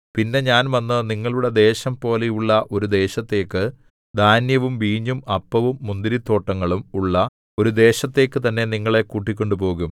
പിന്നെ ഞാൻ വന്നു നിങ്ങളുടെ ദേശം പോലെയുള്ള ഒരു ദേശത്തേക്ക് ധാന്യവും വീഞ്ഞും അപ്പവും മുന്തിരിത്തോട്ടങ്ങളും ഉള്ള ഒരു ദേശത്തേക്ക് തന്നെ നിങ്ങളെ കൂട്ടിക്കൊണ്ടുപോകും